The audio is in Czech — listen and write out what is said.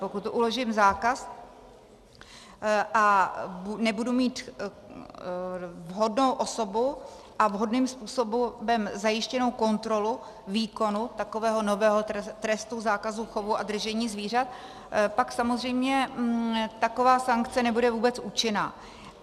Pokud uložím zákaz a nebudu mít vhodnou osobu a vhodným způsobem zajištěnou kontrolu výkonu takového nového trestu zákazu chovu a držení zvířat, pak samozřejmě taková sankce nebude vůbec účinná.